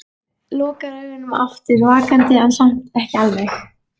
Lokar augunum aftur, vakandi en samt ekki alveg.